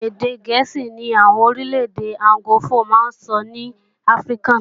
Èdè gẹ̀ẹ́sì ní àwọn orílẹ̀-èdè anglofó máa ń sọ ní Áfríkà